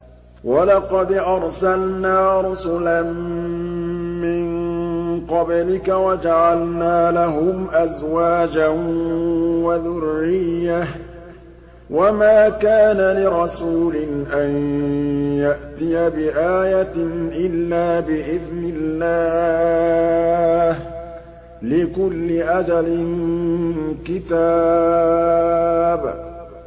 وَلَقَدْ أَرْسَلْنَا رُسُلًا مِّن قَبْلِكَ وَجَعَلْنَا لَهُمْ أَزْوَاجًا وَذُرِّيَّةً ۚ وَمَا كَانَ لِرَسُولٍ أَن يَأْتِيَ بِآيَةٍ إِلَّا بِإِذْنِ اللَّهِ ۗ لِكُلِّ أَجَلٍ كِتَابٌ